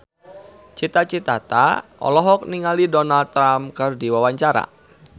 Cita Citata olohok ningali Donald Trump keur diwawancara